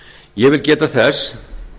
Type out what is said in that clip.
ég vil geta þess